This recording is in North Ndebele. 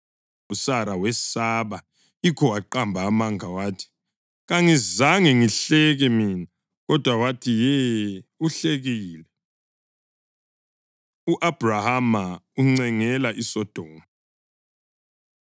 USara wesaba, yikho waqamba amanga wathi, “Kangizange ngihleke mina.” Kodwa wathi, “Ye, uhlekile.” U-Abhrahama Uncengela ISodoma